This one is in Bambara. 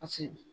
Paseke